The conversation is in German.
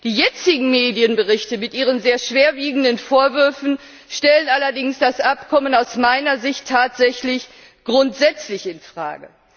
Die jetzigen Medienberichte mit ihren sehr schwerwiegenden Vorwürfen stellen allerdings das Abkommen aus meiner Sicht tatsächlich grundsätzlich in Frage.